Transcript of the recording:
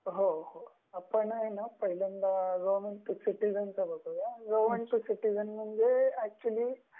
हो हो.आपण ना पहिल्यांदा गवर्नमेंट टु सिटीजन पाहुया गवर्नमेंट टु सिटीजन म्हणजे ते एक्चुली